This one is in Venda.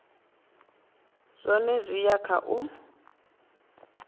zwone zwi ya kha u